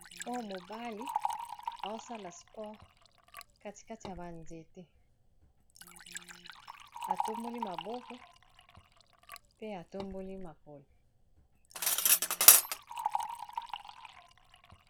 Oya mobali aosala spore katikati ya banzete atomboli maboko pe atomboli makolo